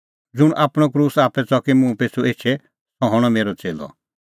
ज़ुंण बी आपणअ क्रूस आप्पै च़की मुंह पिछ़ू एछे सह हणअ मेरअ च़ेल्लअ